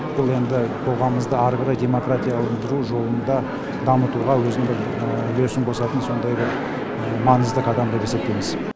бұл енді қоғамымызды әрі қарай демократияландыру жолында дамытуға өзінің бір үлесін қосатын сондай бір маңызды қадам деп есептейміз